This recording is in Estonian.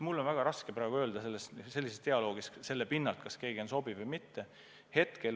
Mul on väga raske praegu öelda, kas keegi sobib oma kohale või mitte.